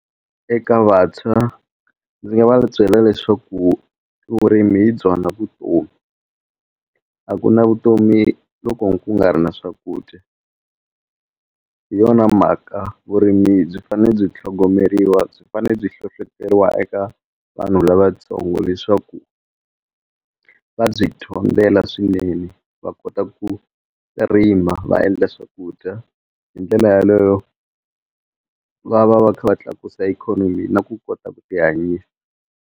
Eka vantshwa ndzi va byela leswaku vurimi hi byona vutomi a ku na vutomi loko ku nga ri na swakudya hi yona mhaka vurimi byi fane byi tlhogomeriwa byi fane byi hlohloteriwa eka vanhu lavatsongo leswaku va byi dyondzela swinene va kota ku rima va endla swakudya hi ndlela yaleyo va va va kha va tlakusa ikhonomi na ku kota ku ti hanyisa.